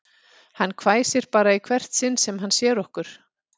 Hann hvæsir bara í hvert sinn sem hann sér okkur